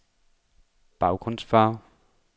baggrundsfarve